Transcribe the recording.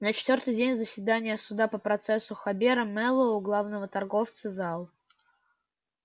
на четвёртый день заседания суда по процессу хобера мэллоу главного торговца зал